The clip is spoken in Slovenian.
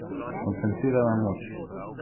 Koncentrirana moč.